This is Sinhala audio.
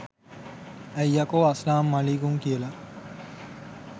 ඇයි යකෝ අස්ලාම් මලික්කුම් කියල